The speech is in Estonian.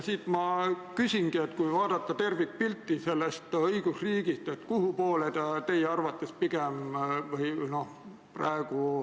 Siit ma küsingi: kui vaadata tervikpilti sellest õigusriigist, kuhu poole ta teie arvates pigem liigub?